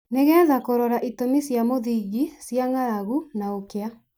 nĩ getha kũrora itũmi cia mũthingi cia ng'aragu na ũkĩa